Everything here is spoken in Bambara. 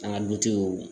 An ka dutigiw